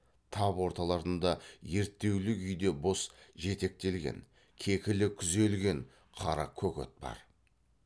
тап орталарында ерттеулі күйде бос жетектелген кекілі күзелген қара көк ат бар